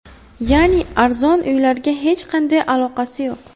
Ya’ni arzon uylarga hech qanday aloqasi yo‘q.